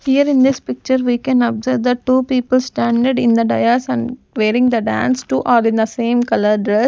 here in this picture we can observe the two people standard in the Dias and wearing the dance to all in the same colour dress.